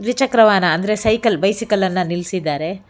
ದ್ವಿ ಚಕ್ರ ವಾಹನ ಅಂದ್ರೆ ಸೈಕಲ್ ಬೈಸಿಕಲ್ ಅನ್ನ ನಿಲ್ಸಿದಾರೆ.